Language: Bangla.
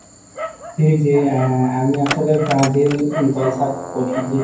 এই যে আহ আমি আসলে ব্রাজিল দল support করি জি।